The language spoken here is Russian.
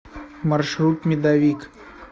маршрут медовик